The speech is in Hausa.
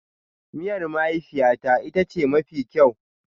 Miyar mahaifiyata ita ce mafi kyau.